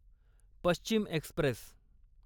Paschim Express